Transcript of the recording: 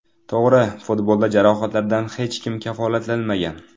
To‘g‘ri, futbolda jarohatlardan hech kim kafolatlanmagan.